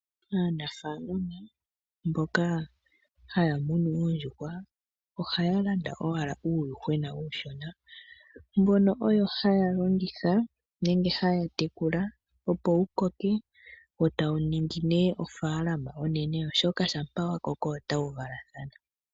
Aanafaalama mboka haya munu oondjuhwa ohaya landa owala uuyuhwena uushona. Mbono oyo haya longitha nenge haya tekula opo wukoke wo tawu ningi nee ofaalama onene oshoka shampa wakoko otawu valathana.